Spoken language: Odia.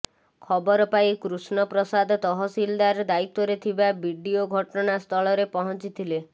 ଖବରପାଇ କୃଷ୍ଣ ପ୍ରସାଦ ତହସିଲଦାର ଦାୟିତ୍ୱରେ ଥିବା ବିଡିଓ ଘଟଣା ସ୍ଥଳରେ ପହଞ୍ଚିଥିଲେ